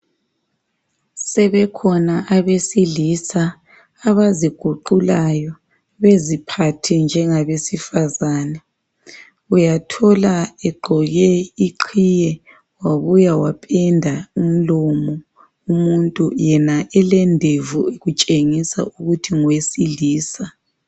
Sebekhona abesilisa abaziguqulayo beziphathe njengabesifazane. Uyathola egqoke iqhiye wabuya wapenda umlomo umuntu yena elendevu kutshengisa ukuthi ngowesilisa.